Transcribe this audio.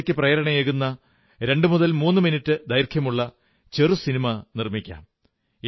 ശുചിത്വത്തിനു പ്രേരണയേകുന്ന 23 മിനിട്ടു ദൈർഘ്യമുള്ള ചെറു സിനിമ നിർമ്മിക്കാം